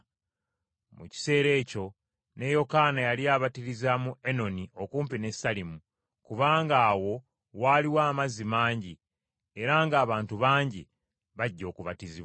Mu kiseera ekyo ne Yokaana yali abatiriza mu Enoni okumpi ne Salimu, kubanga awo waaliwo amazzi mangi, era ng’abantu bangi bajja okubatizibwa,